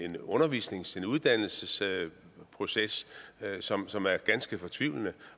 en undervisnings eller uddannelsesproces som som er ganske fortvivlende